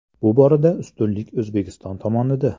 Bu borada ustunlik O‘zbekiston tomonida.